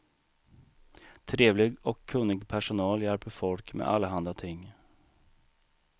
Trevlig och kunnig personal hjälper folk med allehanda ting.